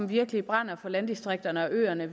virkelig brænder for landdistrikterne og øerne